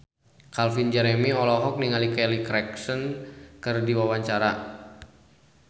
Calvin Jeremy olohok ningali Kelly Clarkson keur diwawancara